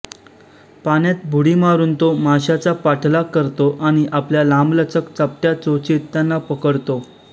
पाण्यात बुडी मारून तो माश्याचा पाठलाग करतो आणि आपल्या लांबलचक चपटया चोचीत त्यांना पकडतो